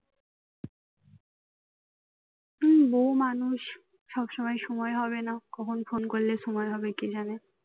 হম বউ মানুষ সবসময় সময় হবে না কখন ফোন করলে সময় হবে কে জানে